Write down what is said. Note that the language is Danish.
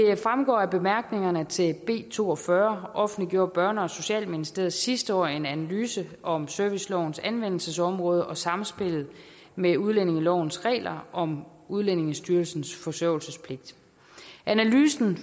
fremgår af bemærkningerne til b to og fyrre offentliggjorde børne og socialministeriet sidste år en analyse om servicelovens anvendelsesområde og samspillet med udlændingelovens regler om udlændingestyrelsens forsørgelsespligt analysen